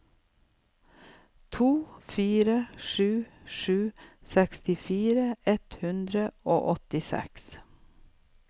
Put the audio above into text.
to fire sju sju sekstifire ett hundre og åttiseks